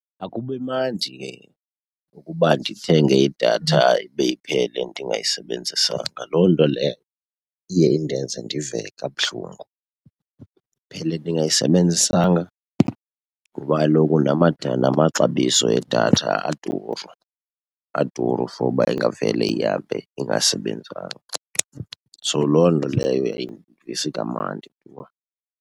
Akubi mandi ke ukuba ndithenge idatha ibe iphele ndingayisebenzisanga. Loo nto leyo iye indenze ndive kabuhlungu. Iphele ndingayisebenzisanga? Ngoba kaloku la , la maxabiso edatha aduru, aduru for uba ingavele ihambe ingasebenzanga. So loo nto leyo ayindivisi kamandi tu.